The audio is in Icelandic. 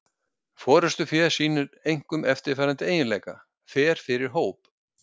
Forystufé sýnir einkum eftirfarandi eiginleika: Fer fyrir hóp.